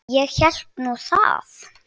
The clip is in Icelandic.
Ég hélt nú það.